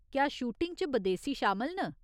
क्या शूटिंग च बदेसी शामल न ?